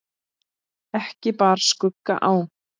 Ekki bar skugga á.